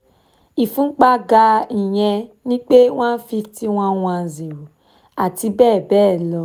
ìfúnpá ga ìyẹn ni pé one fifty one one zero àti bẹ́ẹ̀ bẹ́ẹ̀ lọ